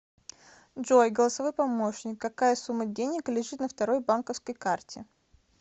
джой голосовой помощник какая сумма денег лежит на второй банковской карте